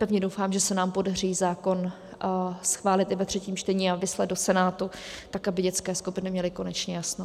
Pevně doufám, že se nám podaří zákon schválit i ve třetím čtení a vyslat do Senátu tak, aby dětské skupiny měly konečně jasno.